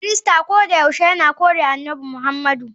Kirista kodayaushe yana kore Annabi Muhammadu.